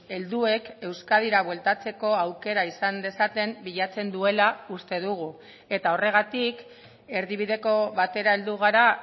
helduek euskadira bueltatzeko aukera izan dezaten bilatzen duela uste dugu eta horregatik erdibideko batera heldu gara